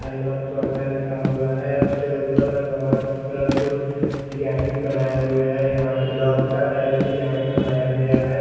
आई love panda लिखा हुआ है उसके ऊपर बहोत कलरफुल डिजाइनिंग बनाए हुए है यहाँ पर बहोत अच्छा डिज़ाइन बनाया गया है।